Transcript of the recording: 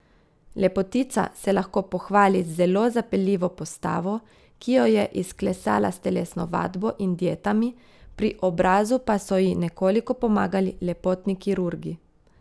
Lepotica se lahko pohvali z zelo zapeljivo postavo, ki jo je izklesala s telesno vadbo in dietami, pri obrazu pa so ji nekoliko pomagali lepotni kirurgi.